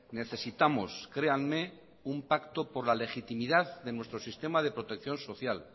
necesitamos créanme un pacto por la legitimidad de nuestro sistema de protección social